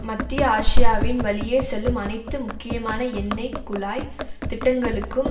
மத்திய ஆசியாவின் வழியே செல்லும் அனைத்து முக்கியமான எண்ணெய் குழாய் திட்டங்களுக்கும்